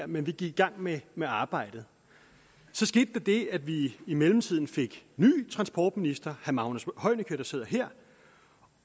men vi gik i gang med med arbejdet så skete der det at vi i mellemtiden fik ny transportminister herre magnus heunicke der sidder her